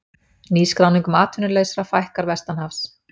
Nýskráningum atvinnulausra fækkar vestanhafs